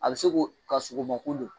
A bɛ se ko ka sogo ma ko don